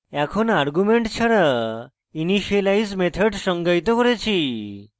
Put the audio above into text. এখন argument ছাড়া initialize method সংজ্ঞায়িত করেছি